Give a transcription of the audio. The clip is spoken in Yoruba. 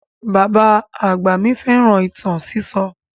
Bàbá àgbà mi fẹ́ràn ìtàn sísọ.